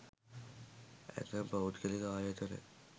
ඇතැම් පෞද්ගලික ආයතන